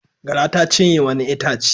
Gara ta cinye wani itace.